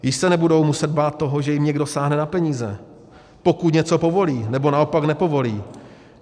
Již se nebudou muset bát toho, že jim někdo sáhne na peníze, pokud něco povolí, nebo naopak nepovolí.